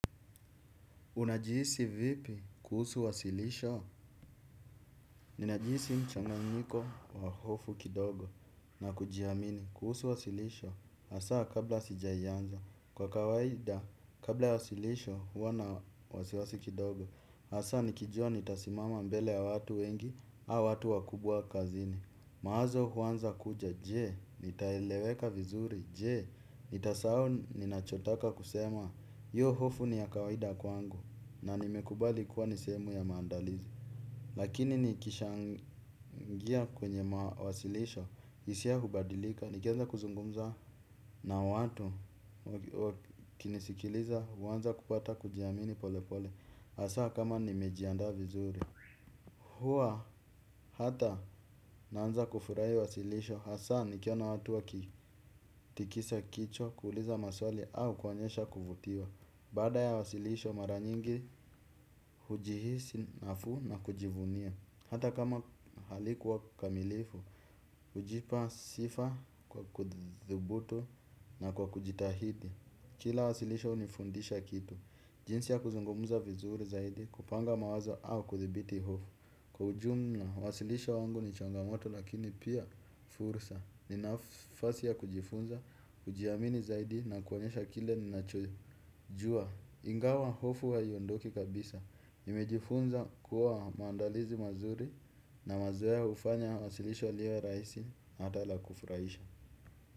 Unajihisi vipi kuhusu wasilisho? Ninajiisi mchanganyiko wa hofu kidogo na kujiamini kuhusu wasilisho. Hasa kabla sijaianza. Kwa kawaida, kabla ya wasilisho, huwa na wasiwasi kidogo. Hasa nikijua nitasimama mbele ya watu wengi, au watu wakubwa kazini. Mawazo huanza kuja, je, nitaeleweka vizuri? Je, nitasau ninachotaka kusema? Hiyo hofu ni ya kawaida kwangu. Na nimekubali kuwa ni sehemu ya maandalizi. Lakini nikishaingia kwenye mawasilisho, hisia hubadilika. Nikianza kuzungumza na watu kunisikiliza huanza kupata kujiamini pole pole. Hasa kama nimejiandaa vizuri. Huwa hata naanza kufurahi wasilisho, hasa nikiona watu wakitikisa kichwa, kuuliza maswali au kuonyesha kuvutiwa. Baada ya wasilisho mara nyingi hujihisi nafuu na kujivunia. Hata kama halikuwa kamilifu hujipa sifa kwa kuthubutu na kwa kujitahidi. Kila wasilisho hunifundisha kitu. Jinsi ya kuzungumuza vizuri zaidi, kupanga mawazo au kuthibiti hofu. Kwa ujumla uwasilisho wangu ni changamoto lakini pia fursa. Ni nafasi ya kujifunza, kujihamini zaidi na kuonyesha kile ninachojua, ingawa hofu haiondoki kabisa. Nimejifunza kuwa maandalizi mazuri na mazoea hufanya wasilisho liwe rahisi ata la kufurahisha.